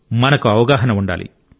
మనకు అవగాహన ఉండాలి